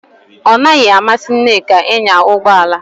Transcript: Ọ naghị amasị Nneka ịnya ụgbọ ala